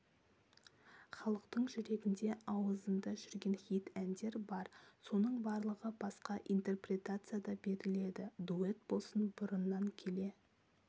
халықтың жүрегінде ауызында жүрген хит әндер бар соның барлығы басқаша интерпретацияда беріледі дуэт болсын бұрыннан келе